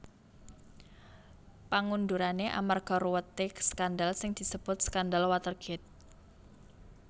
Pengundurane amarga ruwete skandal sing disebut Skandal Watergate